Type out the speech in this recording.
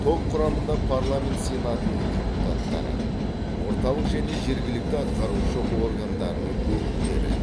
топ құрамында парламент сенатының депутаттары орталық және жергілікті атқарушы органдардың өкілдері